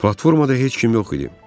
Platformada heç kim yox idi.